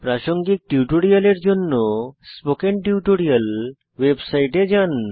প্রাসঙ্গিক টিউটোরিয়ালের জন্য স্পোকেন টিউটোরিয়াল ওয়েবসাইটে যান